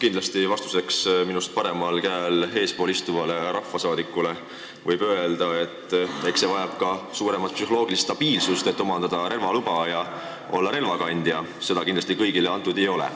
Kindlasti võib vastuseks minust paremal käel ja minust eespool istuvale rahvasaadikule öelda, et eks relvaloa omandamine ja relvakandja olemine vaja ka suuremat psühholoogilist stabiilsust ning seda kindlasti kõigile antud ei ole.